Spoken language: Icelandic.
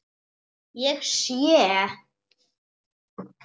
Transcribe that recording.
Ég sé.